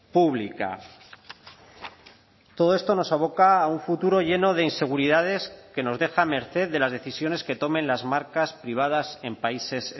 pública todo esto nos aboca a un futuro lleno de inseguridades que nos deja a merced de las decisiones que tomen las marcas privadas en países